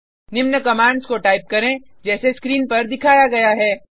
निम्न कमांड्स को टाइप करें जैसे स्क्रीन पर दिखाया गया है